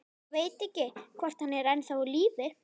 Ég veit ekki, hvort hann er ennþá á lífi.